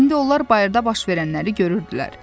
İndi onlar bayırda baş verənləri görürdülər.